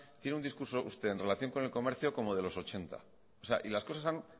tiene un discurso usted en relación con el comercio como de los ochenta y las cosas han